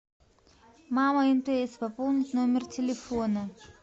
мама мтс пополнить номер телефона